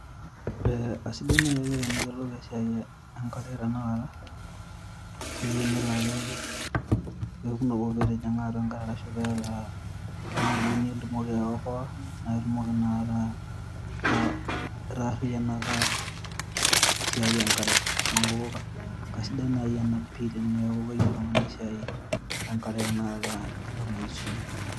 Aa aisidai nai ake teniyiolou esiaai enkare tenakata. Peenelo ake orkekun litijinga enkare ashu peeta oltungani liyieu nitumoki aiokoa naa itumoki inakata ,itaarianaka esiaai enkare .Neku kasidai nai ena pi teneeku keyiolo oltungani esiaai enkare.